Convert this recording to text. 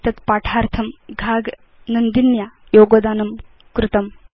एतद् पाठार्थं घाग नन्दिन्या योगदानं कृतम्